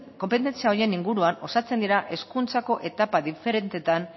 konpetentzia horien inguruan osatzen dira hezkuntzako etapa diferenteetan